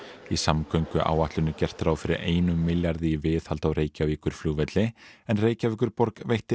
í samgönguáætlun er gert ráð fyrir einum milljarði í viðhald á Reykjavíkurflugvelli en Reykjavíkurborg veitti